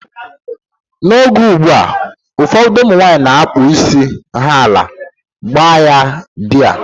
N'oge ụgbụa, ụfọdụ ụmụnwanyị na-akpụ isi ha ala, gbaa ya dai